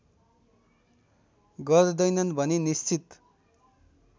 गर्दैनन् भनी निश्चित